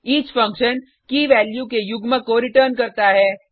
each function key value के युग्म को रिटर्न्स करता है